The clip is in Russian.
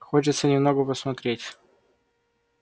хочется немного посмотреть